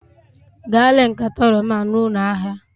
Gaa ree nkata oroma a na ụlọ ahịa!